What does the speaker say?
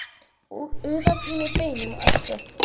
Úðað í mig beinum og ösku.